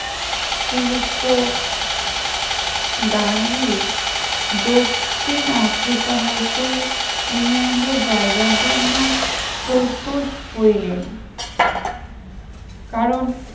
শ্রীযুক্ত গান্ধী দক্ষিণ আফ্রিকা হইতে ইংল্যান্ডে যাইবার জন্য প্রস্তুত ভ কারণ